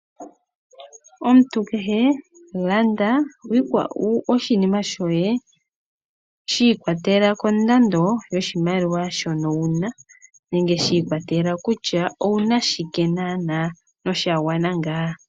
Omuntu kehe landa oshinima shoye shi ikwatelela kondando yoshimaliwa shono wu na nenge shi ikwatelela kutya owu na shike naanaa nosha gwana ngaa.